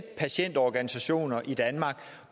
patientorganisationer